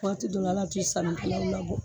Waati dɔw la hal'a te sanikɛlaw labɔ.